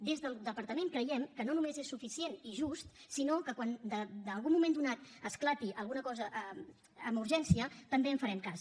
des del departament creiem que no només és suficient i just sinó que quan en algun moment donat esclati alguna cosa amb urgència també en farem cas